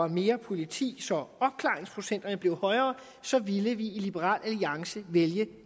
mere politi så opklaringsprocenten bliver højere så vil vi i liberal alliance vælge